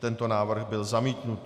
Tento návrh byl zamítnut.